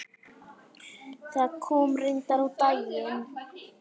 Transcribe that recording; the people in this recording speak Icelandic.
Það kom reyndar á daginn.